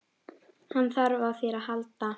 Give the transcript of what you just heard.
Hann þarf á þér að halda.